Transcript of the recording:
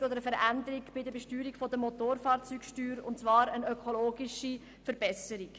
Es ging um eine Veränderung bei der Besteuerung der Motorfahrzeuge und zwar um eine ökologische Verbesserung.